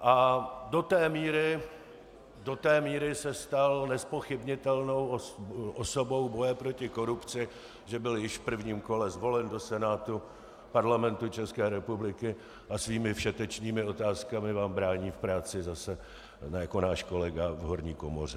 A do té míry se stal nezpochybnitelnou osobou boje proti korupci, že byl již v prvním kole zvolen do Senátu Parlamentu České republiky, a svými všetečnými otázkami vám brání v práci zase jako náš kolega v horní komoře.